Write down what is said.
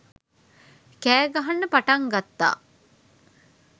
කෑ ගහන්න පටන් ගත්තා.